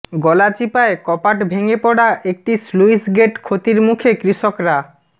গলাচিপায় কপাট ভেঙে পড়া একটি স্লুইসগেট ক্ষতির মুখে কৃষকরা